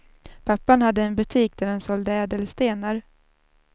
Pappan hade en butik där han sålde ädelstenar.